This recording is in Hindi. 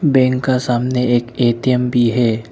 बैंक का सामने एक ए_टी_एम भी है।